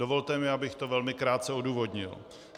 Dovolte mi, abych to velmi krátce odůvodnil.